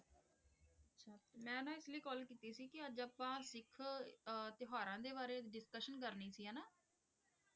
ਅੱਛਾ ਮੈਂ ਨਾ ਐਕਚਲੀ ਕਾਲ ਕੀਤੀ ਸੀ ਕਿ ਅੱਜ ਆਪਾਂ ਸਿੱਖ ਆਹ ਤਿਉਹਾਰਾਂ ਦੇ ਬਾਰੇ ਡਿਸਕਸ਼ਨ ਕਰਨੀ ਸੀ ਹੈਨਾ?